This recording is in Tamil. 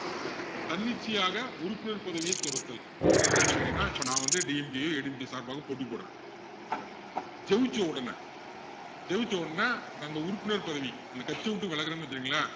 தன்னிச்சையாக உறுப்பினர் பதவியை துறத்தல் அப்படின்னா என்ன அர்த்தம்ன்னு கேட்டிங்கன்னா இப்போ நான் வந்து எது சார்பாக போட்டி போடுறேன் ஜெயிச்சவுடனே ஜெயிச்சவுடனே நான் அந்த உறுப்பினர் பதவி அந்த கட்சியை விட்டு விலகுறேன்னு வச்சிக்கோங்களேன்